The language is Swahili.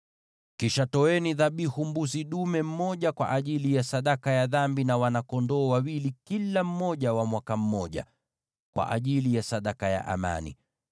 Kisha toeni dhabihu ya mbuzi dume mmoja kwa ajili ya sadaka ya dhambi, na wana-kondoo wawili, kila mmoja wa mwaka mmoja, kwa ajili ya sadaka ya amani.